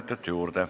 Kolm minutit juurde.